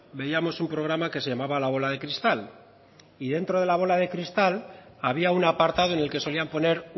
veíamos un programa que se llamaba la bola de cristal y dentro de la bola de cristal había un apartado en el que solían poner